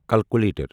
calculator